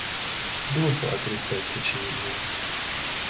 глупо отрицать очевидное